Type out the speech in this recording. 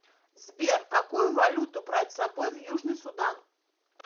сбер какую валюту брать с собой в южный судан